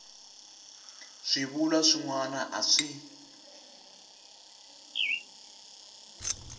swivulwa swin wana a swi